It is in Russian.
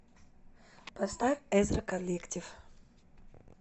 поставь эзра коллектив